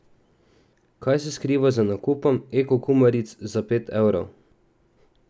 Kaj se skriva za nakupom ekokumaric za pet evrov?